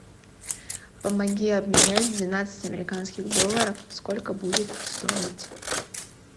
помоги обменять двенадцать американских долларов сколько будет стоить